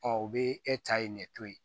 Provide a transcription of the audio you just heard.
u bɛ e ta ye nin ne to ye